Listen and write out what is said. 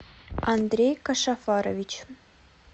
андрей кашафарович